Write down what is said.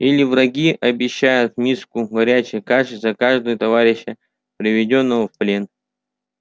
или враги обещают миску горячей каши за каждого товарища приведённого в плен